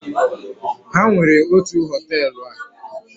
ha nwere otu hoteelu a